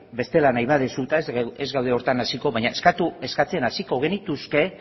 bestela nahi baduzu eta ez gaude horretan hasiko baina eskatzen hasiko genituzke